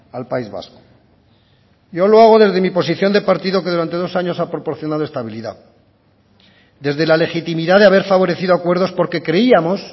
al país vasco yo lo hago desde mi posición de partido que durante dos años ha proporcionado estabilidad desde la legitimidad de haber favorecido acuerdos porque creíamos